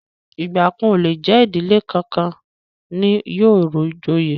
Igba kan o le jẹ ìdílé kánkan ni yóò joyè.